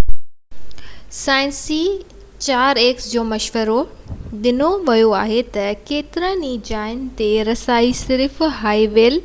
اهو عام گاڏي سان احتياطي منصوبي سان ڪري سگهجي ٿو پر هڪ 4x4 جو مشورو ڏنو ويو آهي ۽ ڪيترن ئي جائين تي رسائي صرف هائي ويل